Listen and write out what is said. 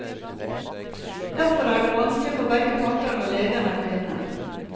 Derfor er det vanskelig for begge parter når legen er kvinne.